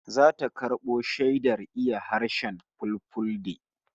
Zata karbo shaidar iya harshen Fulfulde